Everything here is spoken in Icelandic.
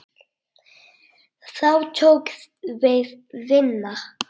Þá tók við vinna.